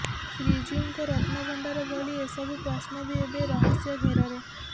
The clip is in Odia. ଶ୍ରୀଜିଉଙ୍କ ରତ୍ନଭଣ୍ଡାର ଭଳି ଏସବୁ ପ୍ରଶ୍ନ ବି ଏବେ ରହସ୍ୟଘେରରେ